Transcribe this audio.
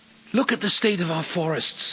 Look at the state of our forests.